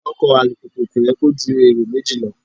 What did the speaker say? Ọkọ̀ alùpùpù kò yẹ kó kó ju èrò méjì lọ.